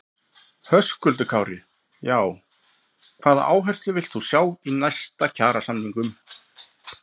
Höskuldur Kári: Já, hvaða áherslur villt þú sjá í næstu kjarasamningum?